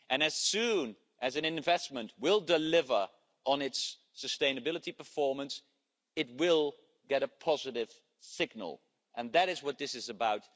As soon as an investment delivers on its sustainability performance, it will get a positive signal, and that is what this is about.